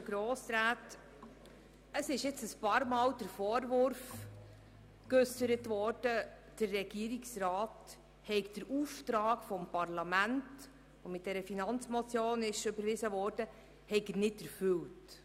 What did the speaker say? Bisher wurde mehrmals der Vorwurf geäussert, der Regierungsrat habe den mit der Finanzmotion überwiesenen Auftrag des Parlaments nicht erfüllt.